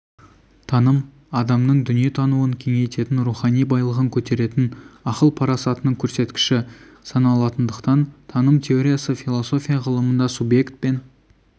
таным адамның дүниетануын кеңейтетін рухани байлығын көтеретін ақыл-парасатының көрсеткіші саналатындықтан таным теориясы философия ғылымында субъект пен